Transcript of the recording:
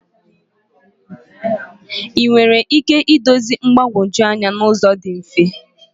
Ị nwere ike idozi mgbagwoju anya n'ụzọ dị mfe?